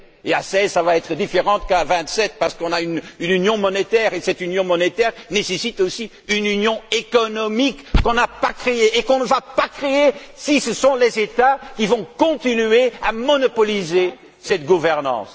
Et à seize, cela sera différent qu'à vingt sept, parce qu'on a une union monétaire et que cette union monétaire nécessite aussi une union économique qu'on n'a pas créée et qu'on ne va pas créer si ce sont les États qui continuent à monopoliser cette gouvernance.